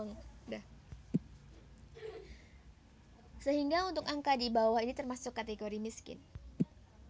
Sehingga untuk angka di bawah itu termasuk kategori miskin